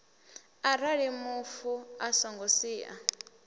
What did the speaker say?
arali mufu a songo sia